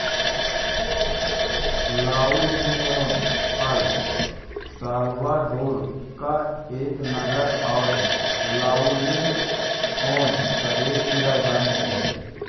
La Union El Salvador का एक नगर और लाउनिओन प्रदेश की राजधानी है